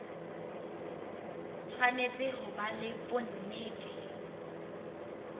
tshwanetse ho ba le bonnete